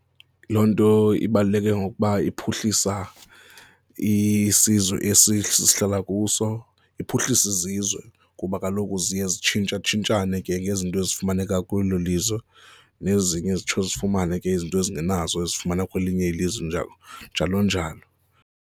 Loo nto ibaluleke ngokuba iphuhlisa isizwe esi sihlala kuso, iphuhlisa izizwe kuba kaloku ziye zitshintshatshintshane ke ngezinto ezifumaneka kwelo lizwe nezinye zitsho zifumane ke izinto ezingenazo ezifumana kwelinye ilizwe njalo, njalo njalo.